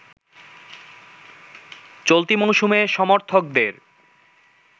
চলতি মৌসুমে সমর্থকদের